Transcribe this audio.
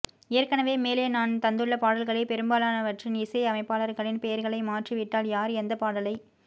ஏற்க்கனவே மேலே நான் தந்துள்ள பாடல்களில் பெரும்பாலானவற்றின் இசையமைப்பாளர்களின் பெயர்களை மாற்றி விட்டால் யார் எந்தப் பாடலை